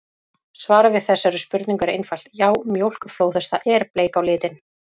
Svarið við þessari spurningu er einfalt: Já, mjólk flóðhesta er bleik á litinn!